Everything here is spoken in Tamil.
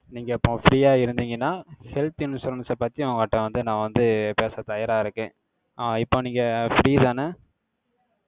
நீங்க, இப்ப free ஆ இருந்தீங்கன்னா, health insurance அ பத்தி, உங்கட்ட வந்து, நான் வந்து, பேச தயாரா இருக்கேன். அஹ் இப்ப நீங்க free தானே?